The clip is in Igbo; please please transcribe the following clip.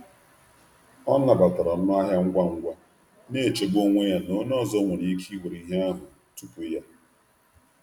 Ọ nabatara ọnụ ahịa ngwa ngwa, na-echegbu onwe ya na onye ọzọ nwere ike iwere ihe ahụ tupu ya.